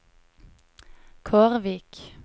Kårvik